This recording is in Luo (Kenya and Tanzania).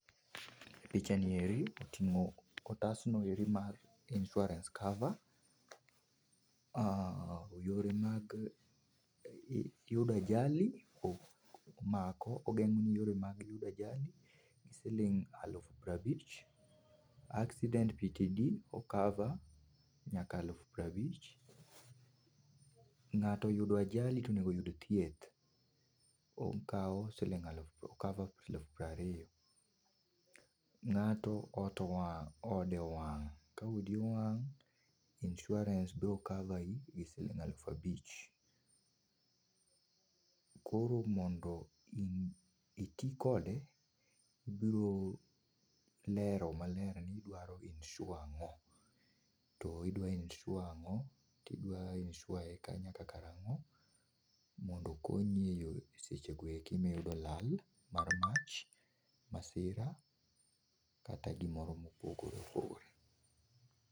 Picha nieri otingo otas noeri mar insurance cover,,aah yore mag yudo ajali omako, ogengoni yore mag yudo ajali gi siling aluf prabich, accident o cover nyaka aluf prabich, ngato oyudo ajali to onego oyud thieth okaw siling o cover siling aluf prariyo, ngato ot owang, ode owang , ka odi owang insurance biro cover ni gi siling aluf abich. Koro mondo ii, itii kode ibiro lero maler ni idwaro insure ango to idwa insure ango tidwa insure e ka nyaka karango mondo okonyi e sechego eko ma iyudo lal mar mach, masira kata gimoro ma opogore opogore